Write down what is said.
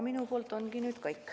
Minu poolt kõik.